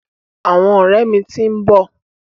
Àwọn ọ̀rẹ́ mi ti ń bọ̀.